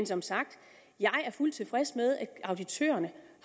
som sagt jeg er fuldt tilfreds med at auditørerne